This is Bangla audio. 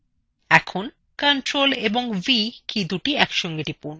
এখন ctrl + v কীদুটি একসাথে টিপুন